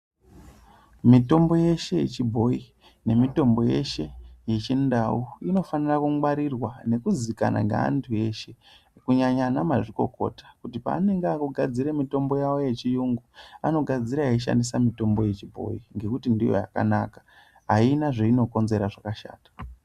Mitombo yeshe yechibhoyi nemitombo yeshe yechindau inofanire kungwarirwa nekuzikana ngaantu eshe kunyanya ana mazvikokota kuti paanonga akugadzire mitombo yavo yechiyungu anogadzira eishandisa mitombo yechibhoyi ngekuti ndiyo yakanaka aina zveinokonzera zvakashata.